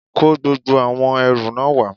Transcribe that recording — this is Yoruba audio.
kó gbogbo àwọn ẹrù náà wá